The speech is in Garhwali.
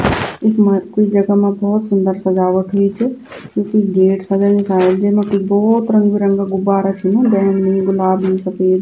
इखमा क्वि जगा मा भौत सुन्दर सजावट हुई च यू क्वि गेट सजायु सायद जैमा कि भौत रंग बिरंगा गुब्बारा छिन बैंगनी गुलाबी सफेद।